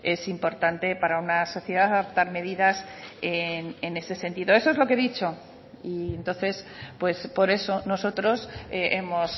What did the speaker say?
es importante para una sociedad adoptar medidas en ese sentido eso es lo que he dicho y entonces pues por eso nosotros hemos